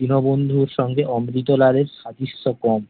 দীনবন্ধুর সঙ্গে অমৃতলাল এর সাদৃশ্য কম